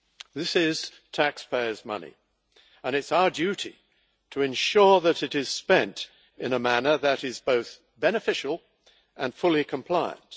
This is taxpayers' money, and it is our duty to ensure that it is spent in a manner that is both beneficial and fully compliant.